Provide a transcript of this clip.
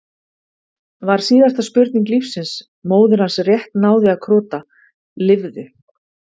var síðasta spurning lífsins, móðir hans rétt náði að krota, lifðu!